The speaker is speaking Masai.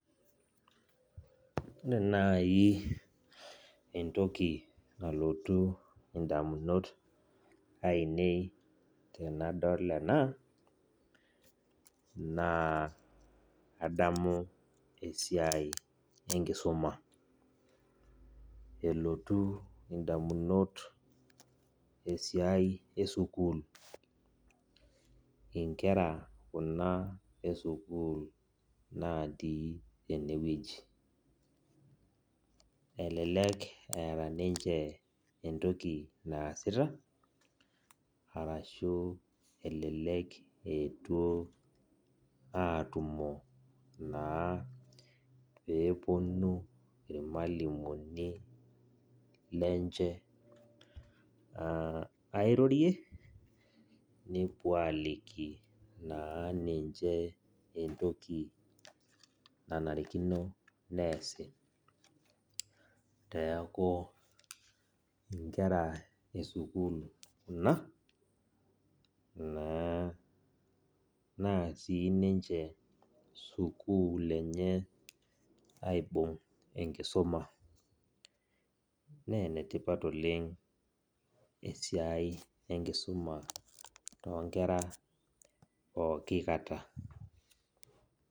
Ore nai entoki nalotu ndamunot ainei tanadol ena na adamu esiai enkisuma elotu ndamunot esiai esukul nkera kuna esukul naii enewueji elelek eeta ninch entoki naasita arashu elelek eetuo aatumo naa peponu irmalimulini lenche airorie nepuo aliki naa ninche rentoki nanarikino neasi neaku nkera esukul kuna na Sukul enye aibung enkisuma na enetipat oleng esiai enkisuma pookikata.